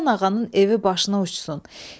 Həsən ağanın evi başına uçsun!